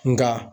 Nka